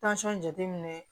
jateminɛ